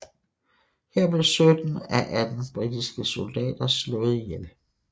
Her blev 17 af 18 britiske soldater slået ihjel